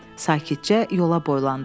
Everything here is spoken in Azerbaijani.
Sakitcə yola boylandım.